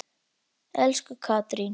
Elsku Katrín.